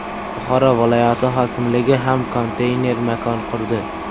Buxoro viloyati hokimligi ham konteyner makon qurdi .